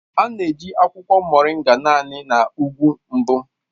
A na-eji akwụkwọ Moringa naanị na ugwu mbụ